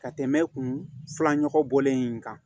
Ka tɛmɛ kun filanɔgɔ bɔlen in kan